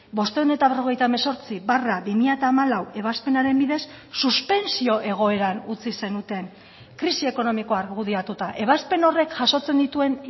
bostehun eta berrogeita hemezortzi barra bi mila hamalau ebazpenaren bidez suspentsio egoeran utzi zenuten krisi ekonomikoa argudiatuta ebazpen horrek jasotzen dituen